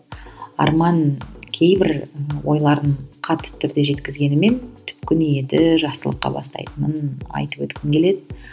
арман кейбір ойларын қатты түрде жеткізгенімен түпкі ниеті жақсылыққа бастайтынын айтып өткім келеді